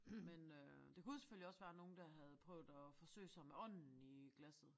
Men øh det kunne selvfølgelig også være nogen der havde prøvet at forsøge sig med ånden i glasset